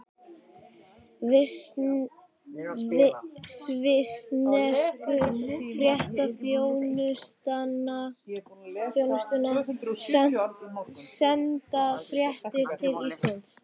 Svissnesku fréttaþjónustuna, senda fréttir til Íslands.